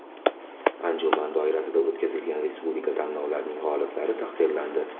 Anjuman doirasida o‘tkazilgan Respublika tanlovlarining g‘oliblari taqdirlandi.